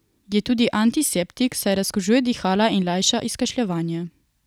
Je tudi antiseptik, saj razkužuje dihala in lajša izkašljevanje.